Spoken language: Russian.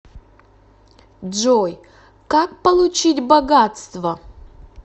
джой как получить богатство